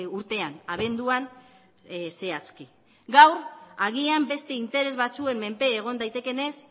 urtean abenduan zehazki gaur agian beste interes batzuen menpe egon daitekeenez